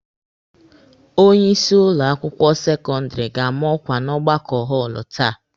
Onye isi ụlọ akwụkwọ sekọndịrị ga-ama ọkwa n'ọgbakọ họọlụ taa.